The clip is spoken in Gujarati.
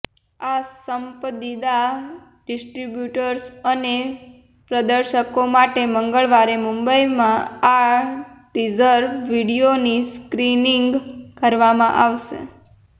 આ પસંદીદા ડિસ્ટ્રિબ્યુટર્સ અને પ્રદર્શકો માટે મંગળવારે મુંબઈમાં આ ટીઝર વિડિઓની સ્ક્રીનીંગ કરવામાં આવશે